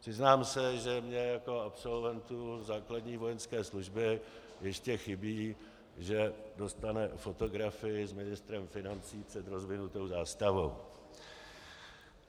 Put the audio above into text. Přiznám se, že mně jako absolventu základní vojenské služby ještě chybí, že dostane fotografii s ministrem financí před rozvinutou zástavou.